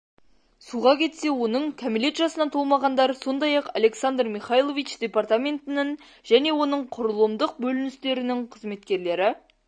суға кетсе оның кәмелет жасына толмағандар сондай-ақ александр михайлович департаментінің және оның құрылымдық бөліністерінің қызметкерлері